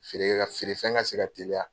Feere kɛ ka feere fɛn ka se ka teliya.